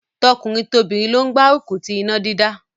Tọkùnrin tobìnrin ló gbárùkù ti iná dídá.